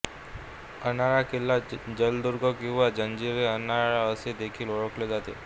अर्नाळा किल्ला जलदुर्ग किंवा जंजिरे अर्नाळा असे देखील ओळखले जाते